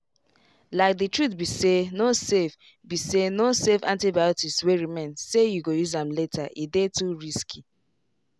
likethe truth be sayno save be sayno save antibiotics wey remain say you go use am latere dey too risky.